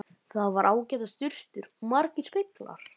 Þar voru ágætar sturtur og margir speglar!